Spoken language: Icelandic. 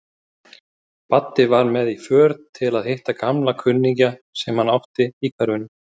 Baddi var með í för til að hitta gamla kunningja sem hann átti í hverfinu.